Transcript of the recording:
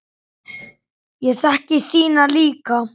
Ég þekki þína líka.